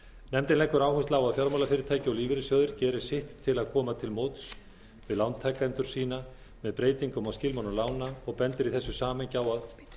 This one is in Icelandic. nefndin leggur áherslu á að fjármálafyrirtæki og lífeyrissjóðir geri sitt til að koma til móts við lántakendur sína með breytingum á skilmálum lána og bendir í þessu samhengi á